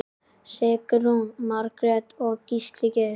Sigrún Margrét og Gísli Geir.